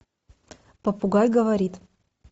попугай говорит